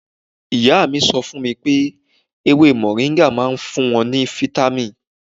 Ìyá mi sọ fún mi pé ewé mọ̀ríńgà máa ń fún wọn ní fítámìn.